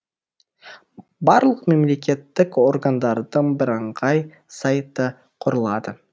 барлық мемлекеттік органдардың бірыңғай сайты құрылады